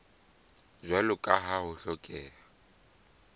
jwalo ka ha ho hlokeha